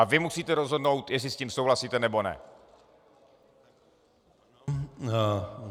A vy musíte rozhodnout, jestli s tím souhlasíte, nebo ne.